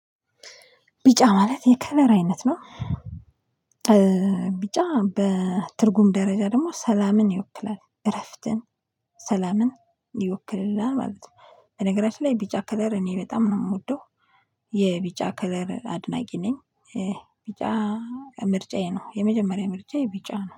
ቢጫ ማለት የከለር አይነት ነው። ቢጫ በትርጉም ደረጃ ደግሞ ሰላምን ይወክላል እረፍትን ሰላምን ይወክልልናል ማለት ነው። በነገራችን ላይ ቢጫ ከለር እኔ በጣም ነው የምወደው። የቢጫ ከለር አድናቂ ነኝ። ቢጫ ምርጫዬ ነው የመጀመሪያ ምርጫዬ ቢጫ ነው